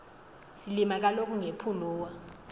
silima kaloku ngepuluwa